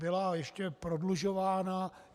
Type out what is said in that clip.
Byla ještě prodlužována.